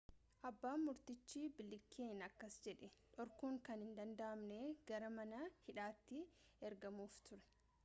abban murtichi bileekiin akkas jedhe dhorkuun kan hin danda'amne gara mana hidhaati ergamuuf ture